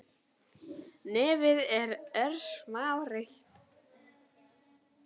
Nefið er örsmá rauð